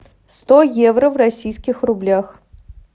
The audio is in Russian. сто евро в российских рублях